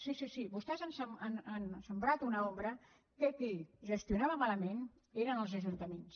sí sí sí vostès han sembrat una ombra que qui gestionava malament eren els ajuntaments